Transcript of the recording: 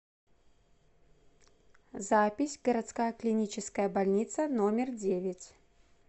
запись городская клиническая больница номер девять